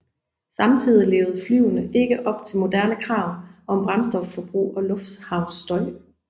Samtidigt levede flyene ikke op til moderne krav om brændstofforbrug og lufthavnsstøj